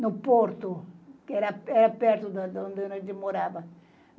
no Porto, que era per perto de onde a gente morava.